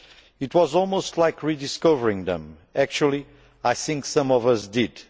It was almost like rediscovering them. Actually I think some of us did.